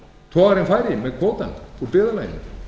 togarinn færi með kvótann úr byggðarlaginu